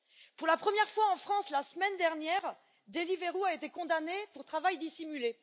Pour la première fois en France la semaine dernière, Deliveroo a été condamnée pour travail dissimulé.